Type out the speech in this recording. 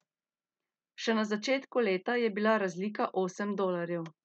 Še na začetku leta je bila razlika osem dolarjev.